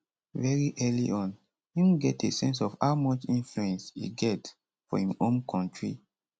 very early on im get a sense of how much influence e get for im home kontri